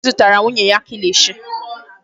Obi zụtara nwunye ya kilishi.